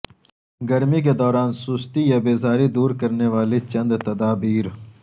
گرمی کے دوران سستی یابیزاری دور کرنے والی چند تدابیر